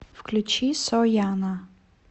включи сояна